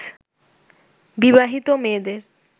বিবাহিত মেয়েদের